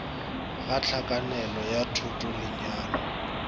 ga hlakanelo ya thoto lenyalo